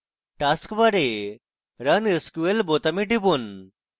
task bar run sql বোতামে টিপুন